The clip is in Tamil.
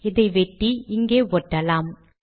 இதை வெட்டி இங்கே ஒட்டலாம்